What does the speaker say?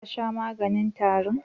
Ka sha maganin tarin?